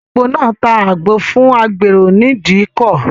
Ìyá alágbo náà ta àgbo fún agbèrò ní ìdíkọ̀.